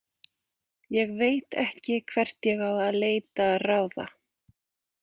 Ég veit ekki hvert ég á að leita ráða?